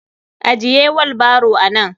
Ajiye willbaro nan.